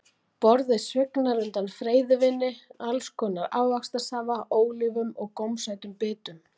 Borðið svignar undan freyðivíni, alls konar ávaxtasafa, ólífum og gómsætum bitum.